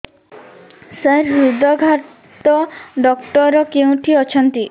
ସାର ହୃଦଘାତ ଡକ୍ଟର କେଉଁଠି ଅଛନ୍ତି